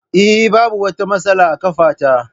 Eh, Babu wata matsala a ƙafa ta.